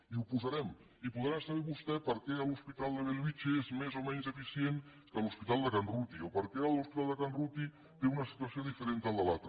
i ho posarem i podrà saber vostè per què l’hospital de bellvitge és més o menys eficient que l’hospital de can ruti o per què l’hospital de can ruti té una situació diferent del de l’altre